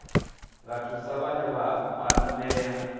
nga thusa vhane vha kwamea